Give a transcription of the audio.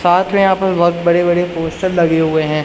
साथ में यहां पर बहोत बड़े बड़े पोस्टर लगे हुए है।